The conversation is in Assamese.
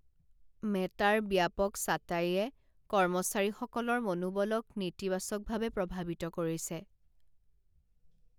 মেটাৰ ব্যাপক ছাটাইয়ে কৰ্মচাৰীসকলৰ মনোবলক নেতিবাচকভাৱে প্ৰভাৱিত কৰিছে